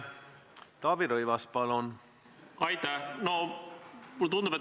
Näiteks Iraan on selline riik, kus ei tohi teatud institutsioone kritiseerida.